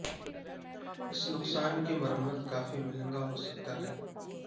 اس نقصان کی مرمت کافی مہنگا ہو سکتا ہے